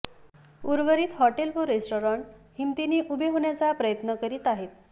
उर्वरित हॉटेल व रेस्तराँ हिमतीने उभे होण्याचा प्रयत्न करीत आहेत